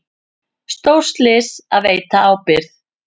Stórslys að veita ábyrgð